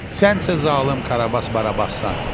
Sən isə zalım Karabas-Barabassan.